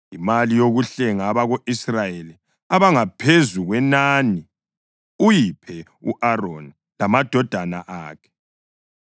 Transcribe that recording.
Imali yokuhlenga abako-Israyeli abangaphezu kwenani uyiphe u-Aroni lamadodana akhe.”